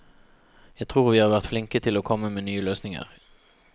Jeg tror vi har vært flinke til å komme med nye løsninger.